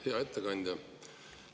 Hea ettekandja!